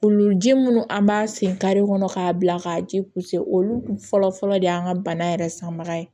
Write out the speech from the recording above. Olu ji minnu an b'a sen kare kɔnɔ k'a bila k'a ji olu kun fɔlɔ fɔlɔ de y'an ka bana yɛrɛ sanbaga ye